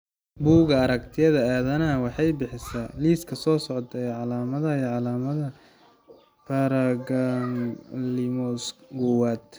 Bugga Aragtiyaha Aanadanaha waxay bixisaa liiska soo socda ee calaamadaha iyo calaamadaha Paragangliomas kowaad.